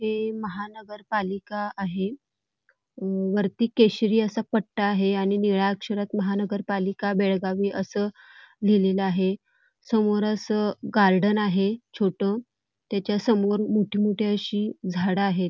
हे महानगर पालिका आहे वरती केशरी असा पठ्ठा आहे आणि निळ्या अक्षरात महानगर पालिका बेळगाव असं लिहिलेलं आहे समोर गार्डन आहे छोट त्याच्या समोर मोठी मोठी अशी झाड आहेत.